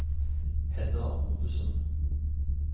Hedda Ovesen